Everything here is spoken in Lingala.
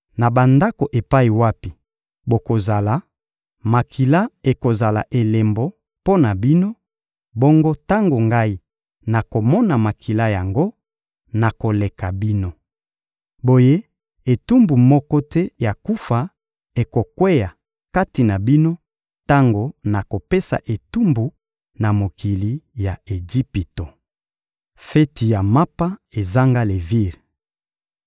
Na bandako epai wapi bokozala, makila ekozala elembo mpo na bino; bongo tango Ngai nakomona makila yango, nakoleka bino. Boye etumbu moko te ya kufa ekokweya kati na bino tango nakopesa etumbu na mokili ya Ejipito. Feti ya mapa ezanga levire